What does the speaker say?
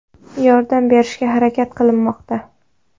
Yordam berishga harakat qilinmoqda.